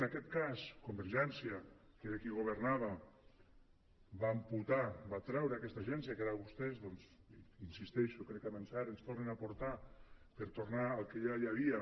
en aquest cas convergència que era qui governava va amputar va treure aquesta agència que ara vostès doncs hi insisteixo crec que amb encert ens tornen a portar per tornar al que ja hi havia